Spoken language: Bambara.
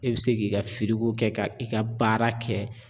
E bɛ se k'i ka kɛ ka i ka baara kɛ.